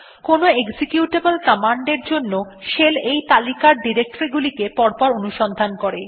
কোনো executable command এর জন্য শেল এই তালিকার ডিরেক্টরী গুলিকে পরপর অনুসন্ধান করে